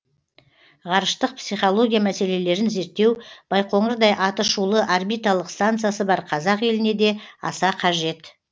ғарыштық психология мәселелерін зерттеу байқоңырдай атышулы орбиталық станциясы бар қазақ еліне де аса қажет